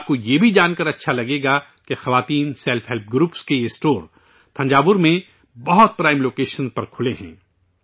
آپ کو یہ بھی جان کر اچھا لگے گا کہ خواتین سیلف ہیلپ گروپز، خواتین خود کی مدد آپ گروپ کے یہ اسٹور تھنجاور میں بہت ہی پرائم لوکیشن پر کھلے ہیں